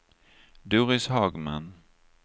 Doris Hagman